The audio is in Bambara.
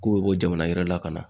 K'u be bɔ jamana wɛrɛ la ka na